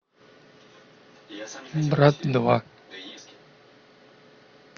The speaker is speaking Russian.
брат два